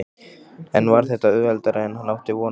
En var þetta auðveldara en hann átti von á?